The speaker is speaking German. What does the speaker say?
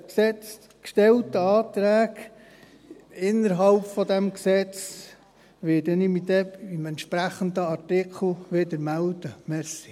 Zu den gestellten Anträgen innerhalb dieses Gesetzes werde ich mich bei den entsprechenden Artikeln des Gesetzes wieder melden.